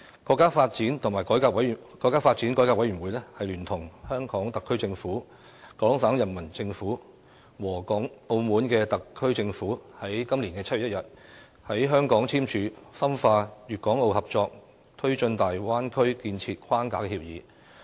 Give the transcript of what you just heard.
今年7月1日，國家發展和改革委員會聯同香港特區政府、廣東省人民政府和澳門特區政府在香港簽署《深化粵港澳合作推進大灣區建設框架協議》。